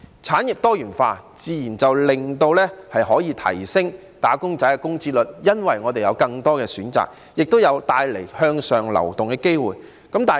產業多元化可以提升"打工仔"的工資，因為香港會有更多選擇，亦會帶來向上流動的機會。